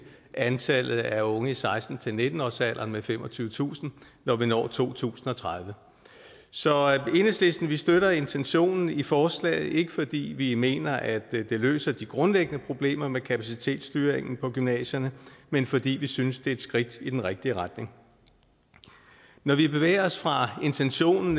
antallet af unge i seksten til nitten årsalderen med femogtyvetusind når vi når to tusind og tredive så enhedslisten støtter intentionen i forslaget ikke fordi vi mener at det løser de grundlæggende problemer med kapacitetsstyringen på gymnasierne men fordi vi synes det er et skridt i den rigtige retning når vi bevæger os fra intentionen